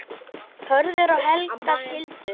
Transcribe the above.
Hörður og Helga skildu.